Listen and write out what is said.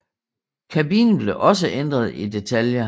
Kabinen blev også ændret i detaljer